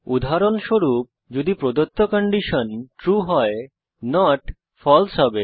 উদাহরণস্বরূপ যদি প্রদত্ত কন্ডিশন ট্রু হয় নট ফালসে হবে